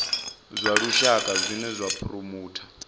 zwa dzitshaka zwine zwa phuromotha